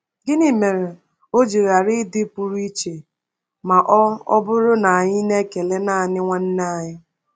Gịnị mere o ji ghara ịdị pụrụ iche ma ọ ọ bụrụ na anyị na-ekele naanị “nwanne anyị”?